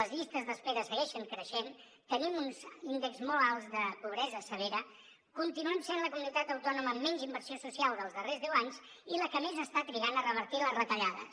les llistes d’espera segueixen creixent tenim uns índexs molt alts de pobresa severa continuem sent la comunitat autònoma amb menys inversió social dels darrers deu anys i la que més està trigant a revertir les retallades